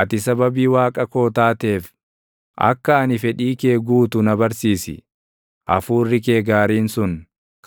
Ati sababii Waaqa koo taateef, akka ani fedhii kee guutu na barsiisi; hafuurri kee gaariin sun